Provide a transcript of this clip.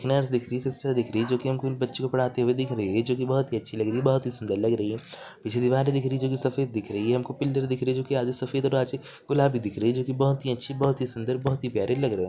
एक नर्स दिख रही है सिस्टर दिख रही है जो बच्चो को पढ़ाते दिख रही है जो की बहुत ही अच्छी लग रही है बहुत ही सुन्दर लग रही है पीछे दीवार दिख रही है जो की सफ़ेद दिख रही है हमको पिलर दिख रहे है जो की आधे सफ़ेद और आधे गुलाबी दिख रहे है बहुत अच्छी बहुत सुन्दर और बहुत ही प्यारी लग रही है।